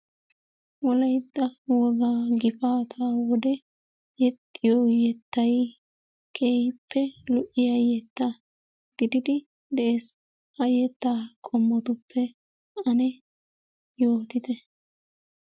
Wolaytta wogaa gifaata wode yeexxiyo yettay keehippe lo''iya yetta gididi dees. ha yetta qommotuppe ane yootite.